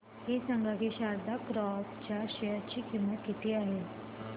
हे सांगा की शारदा क्रॉप च्या शेअर ची किंमत किती आहे